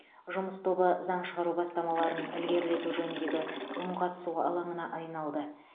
жұмыс тобы заң шығару бастамаларын ілгерілету жөніндегі үнқатысу алаңына айналды